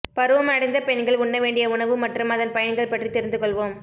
பருவமடைந்த பெண்கள் உண்ணவேண்டிய உணவு மற்றும் அதன் பயன்கள் பற்றி தெரிந்து கொள்வோம்